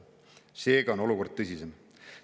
Seega on olukord tõsisem.